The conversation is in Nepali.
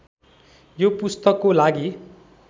यो पुस्तकको लागि